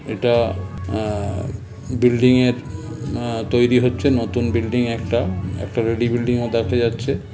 এটা আ- বিল্ডিং -এর আ- তৈরি হচ্ছে নতুন বিল্ডিং একটা একটা রেডি বিল্ডিং -ও দেখা যাচ্ছে --